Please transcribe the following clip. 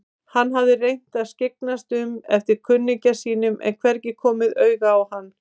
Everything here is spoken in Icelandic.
Hann hafði reynt að skyggnast um eftir kunningja sínum en hvergi komið auga á hann.